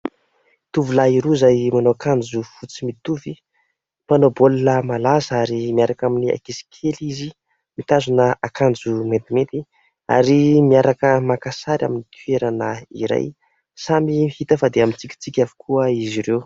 Tovolahy roa izay manao akanjo fotsy mitovy, mpanao baolina malaza ary miaraka amin'ny ankizy kely izy mitazona akanjo maintimainty ary miaraka maka sary amin'ny toerana iray. Samy hita fa dia mitsikitsiky avokoa izy ireo.